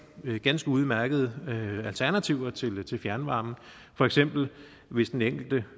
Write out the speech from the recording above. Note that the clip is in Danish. ganske udmærkede alternativer til til fjernvarmen for eksempel hvis den enkelte